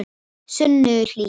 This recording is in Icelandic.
Sunnuhlíð